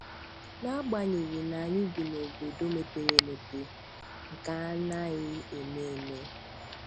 N'agbanyeghị n'anyị bi na obodo mepere emepe nke a anaghị eme eme.